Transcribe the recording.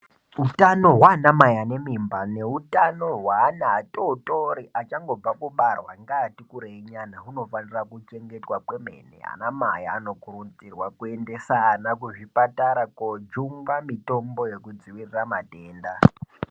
Hutano hwanamai ane mimba neutano hweana atotori achangobva kubarwa ngaati kurei nyana hunofanira kuchengetwa kwemene. Anamai anokurudzirwa kuendesa ana kuzvipatara kojungwa mitombo yekudzivirira matenda.